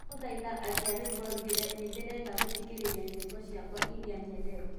ndagũthaĩtha akĩa rwĩmbo nĩndĩrenda gũthĩkĩrĩrĩa nyĩmbo cĩakwaĩrĩa nyendete